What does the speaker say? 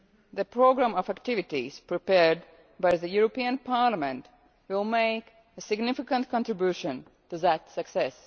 The programme of activities prepared by the European Parliament will make a significant contribution to that success.